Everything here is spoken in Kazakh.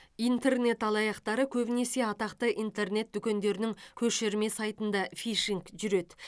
интернет алаяқтары көбінесе атақты интернет дүкендерінің көшірме сайтында фишинг жүреді